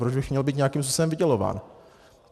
Proč bych měl být nějakým způsobem vydělován?"